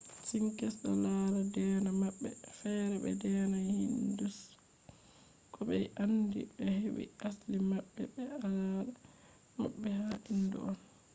sikhs do lara deena mabbe fere be deena hinduism ko be be andi be hedi asli mabbe be al’ada mabbe ha hindu on